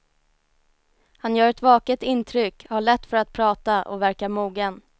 Han gör ett vaket intryck, har lätt för att prata och verkar mogen.